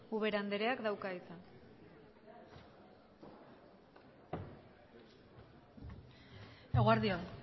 ubera andreak dauka hitzak eguerdi on